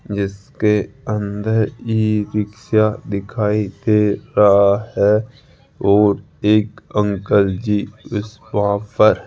जिसके अंदर ई रिक्शा दिखाई दे रहा है और एक अंकल जी उस वहां पर --